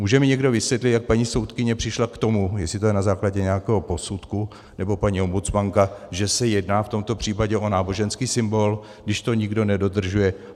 Může mi někdo vysvětlit, jak paní soudkyně přišla k tomu, jestli to je na základě nějakého posudku, nebo paní ombudsmanka, že se jedná v tomto případě o náboženský symbol, když to nikdo nedodržuje?